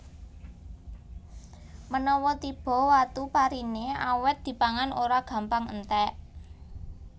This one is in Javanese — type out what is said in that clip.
Menawa tiba Watu pariné awèt dipangan ora gampang entèk